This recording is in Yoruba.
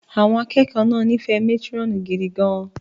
Àwọn akẹ́kọ̀ọ́ náà nífẹ̀ẹ́ matron gidi gan-an